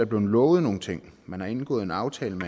blevet lovet nogle ting man har indgået en aftale